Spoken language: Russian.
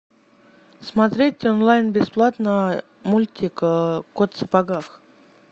смотреть онлайн бесплатно мультик кот в сапогах